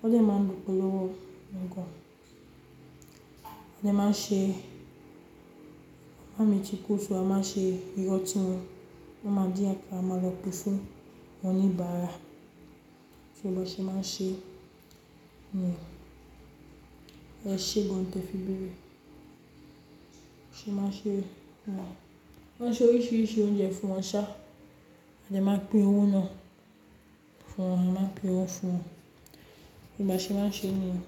Wọ́n dẹ̀ máa ń lòpọ̀lọ́wọ́ gan. Wọ́n dẹ̀ máa ń ṣe, màmá mí tíkufì, máa ń ṣe iró ọtí wọn. Wọ́n máa dín àkà, a máa lọ pe fún àwọn oníbàárà. Tí wọn bá ṣe, máa ṣe, e, ẹ̀ṣẹ̀ gan-an tó fi gbé. Ṣé máa ṣe, máa, máa ṣe oríṣiríṣi oúnjẹ fún wọn ṣá. Wọ́n dẹ̀ máa pín owó náà fún wọn. Wọ́n máa pín owó fún wọn. Ṣo bá ṣe, máa n ṣe nìyẹn.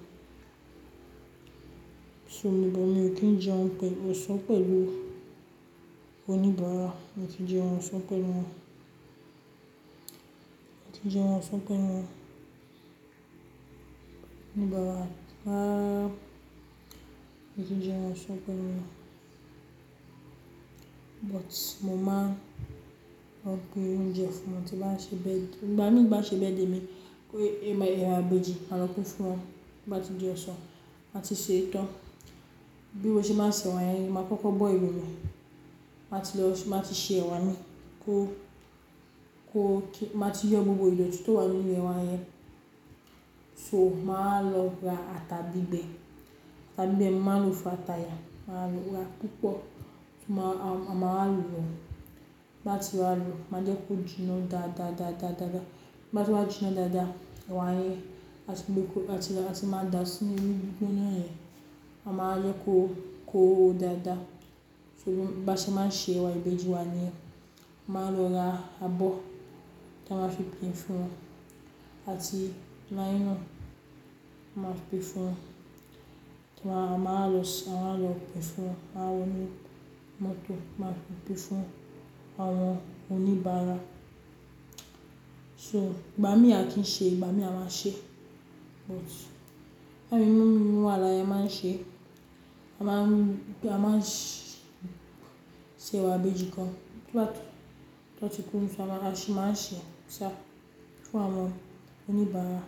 So níbà mi ò kí ń jẹun ọ̀sán pẹ̀lú oníbàárà. Mi ò tíì jẹun ọ̀sán pẹ̀lú wọn. Mi ò tíì jẹun ọ̀sán pẹ̀lú wọn. Oníbàárà bá, mi ò tíì jẹun ọ̀sán pẹ̀lú wọn. But mo máa ń rán pé oúnjẹ fún wọn tí wọ́n bá ṣe bẹ́ẹ̀. Ìgbà mí bá ṣe bẹ́ẹ̀ dé mi pé ẹ̀mà, ẹ̀wà ìbejì, màá lọ kó fún wọn. Bá ti jẹun ọ̀sán, màá ti ṣe tán. Bí mo ṣe máa ṣe ẹwà yẹn ni, màá kókó bọ́ẹli rẹ. Màá ti lọ, màá ti ṣe ẹwà mi kó, kó kí, màá ti yọ gbogbo idọ̀ tí tó wà nínú ẹwà yẹn. So màá lọ ra ata gbígbẹ. Ata gbígbẹ màá n lò fún ata yẹn. Màá lò ra púpọ̀. Màá, màá lọ̀. Bá ti wá ọ̀, màá jẹ́ kó jiná dáadáá, dáadáá, dáadáá. Bá ti wá jiná dáadáa, ẹwà yẹn, a ti máa dá a sí inú gbígbóná yẹn. A máa jẹ́ kó, kó ó dáadáa. So bá ṣe máa ṣe ẹwà ìbejì wa ni, màá lọ ra abọ́ ta máa fi pín fún wọn àti naillọ̀n. Màá fi pín fún wọn. Tí wọ́n bá, màá lọ, ṣé wọ́n máa lọ pín fún àwọn oní mọ́tò. Màá fi pín fún àwọn oníbàárà. So ìgbà mí a kì í ṣe, ìgbà mí a máa ṣe. But bá mi mú, mú àwọn yẹn máa ń ṣe, a máa ń gbà, a máa ń ṣe ẹwà ìbejì gan. Tí wọ́n bá ti kúrú fún wa, a ṣì máa ń ṣe ṣá fún àwọn oníbàárà.